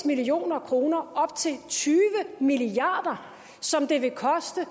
million kroner op til tyve milliard kr som det vil koste